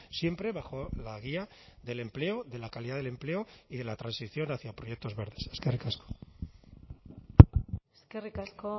siempre bajo la guía del empleo de la calidad del empleo y de la transición hacia proyectos verdes eskerrik asko eskerrik asko